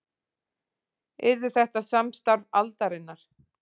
Yrði þetta samstarf aldarinnar